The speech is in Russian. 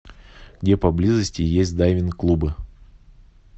где поблизости есть дайвинг клубы